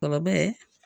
Kuma bɛɛ